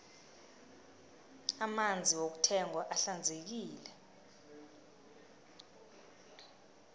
amanzi wokuthengwa ahlanzekile